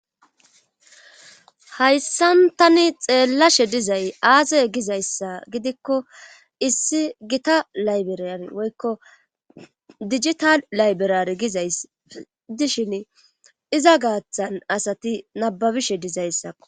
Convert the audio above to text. hayssan tani xeellashe dizay aaze gizayssa gidikko issi gita laybriyan woykko dijital layberaare gizayssi dishini iza gaaththan asati nabbabishe dizayssako.